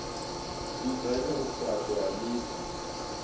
dzudzanya u faṱwa ha miḓi